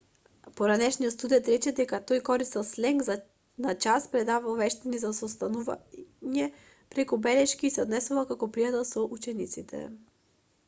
поранешен студент рече дека тој користел сленг на час предавал вештини за состанување преку белешки и се однесувал како пријател со учениците